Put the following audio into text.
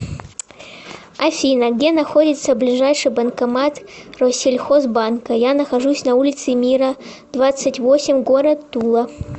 афина где находится ближайший банкомат россельхоз банка я нахожусь на улице мира двадцать восемь город тула